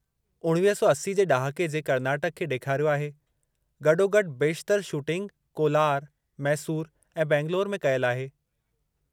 1980 जे ड॒हाके जे कर्नाटक खे ॾेखारियो आहे, गॾोगॾु बेशितरु शूटिंग कोलार, मैसूर ऐं बैंगलोर में कयल आहे।